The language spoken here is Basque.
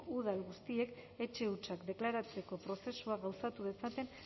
udal guztiek etxe hutsak deklaratzeko prozesua gauzatu dezaten